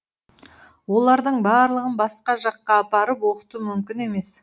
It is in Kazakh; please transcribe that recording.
олардың барлығын басқа жаққа апарып оқыту мүмкін емес